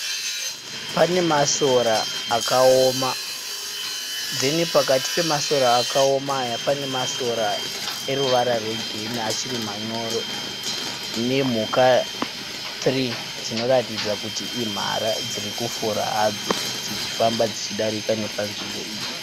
Pane masora akaoma pozoita pakati pemasora akaoma aya pane masora eruvara rwegirini achiri manyoro nemhuka nhatu dzinoratidza kuti imhara dziri kufura hadzo dzichifamba dzichidarika nepanzvimbo iyi.